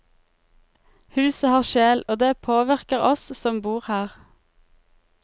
Huset har sjel, og det påvirker oss som bor her.